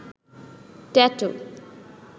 tattoo